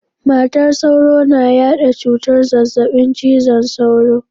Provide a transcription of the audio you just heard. Matar sauro na yada cutar zazzabin cizon sauro.